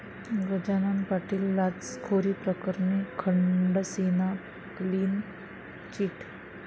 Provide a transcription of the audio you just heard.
गजानन पाटील लाचखोरीप्रकरणी खडसेंना clean chit